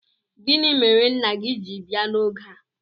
Gini mere nna gi ji bia n'oge?